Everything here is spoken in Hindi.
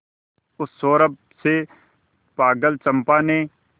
उस सौरभ से पागल चंपा ने